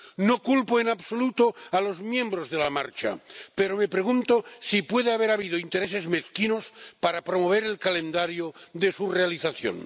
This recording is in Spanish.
No culpo en absoluto a los miembros de la marcha, pero me pregunto si puede haber habido intereses mezquinos para promover el calendario de su realización.